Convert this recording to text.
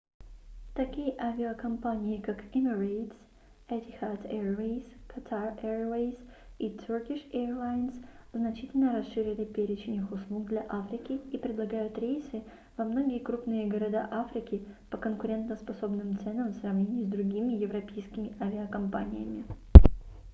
такие авиакомпании как emirates etihad airways qatar airways и turkish airlines значительно расширили перечень их услуг для африки и предлагают рейсы во многие крупные города африки по конкурентоспособным ценам в сравнении с другими европейскими авиакомпаниями